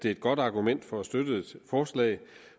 er et godt argument for at støtte et forslag